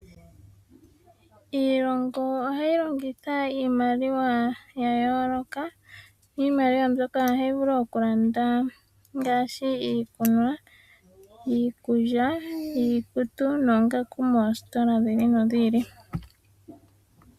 Iilongo ohayi longitha iimaliwa ya yooloka. Iimaliwa mbyoka ohayi vulu oku landa ngaashi iikunwa, iikulya, iikutu noongaku moositola dhi ili nodhi ili.